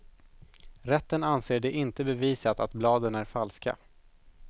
Rätten anser det inte bevisat att bladen är falska.